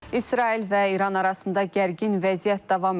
İsrail və İran arasında gərgin vəziyyət davam edir.